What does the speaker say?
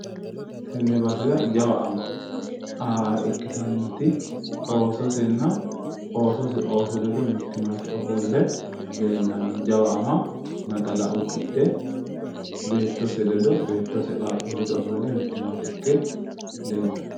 Tenne basera jawa ama ikkitannoti beettosenna oosose ooso ledo mittimmate ofolle leellanno ama naxala uddidhe beettose ledo beettose qaaquulli ledo mittimmate ikke leellanno.